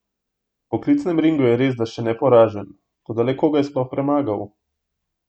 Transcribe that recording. V poklicnem ringu je resda še neporažen, toda le koga je sploh premagal?